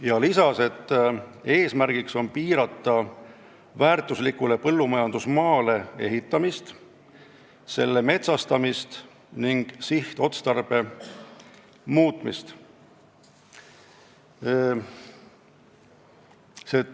Ta lisas, et eesmärk on piirata väärtuslikule põllumajandusmaale ehitamist, selle metsastamist ja sihtotstarbe muutmist.